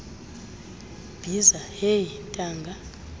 bhiza heyi ntanga